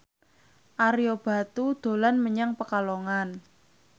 Ario Batu dolan menyang Pekalongan